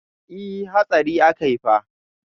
E, hatsari akai fa.